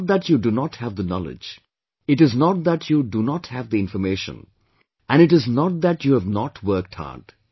It is not that you do not have the knowledge, it is not that you do not have the information, and it is not that you have not worked hard